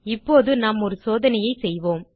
இப்போது நாம் ஒரு சோதனையை செய்வோம்